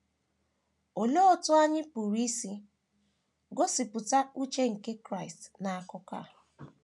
Olee otú anyị pụrụ isi gosipụta uche nke Kraịst n’akụkụ a?